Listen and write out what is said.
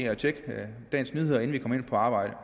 og tjekke dagens nyheder inden vi kommer ind på arbejde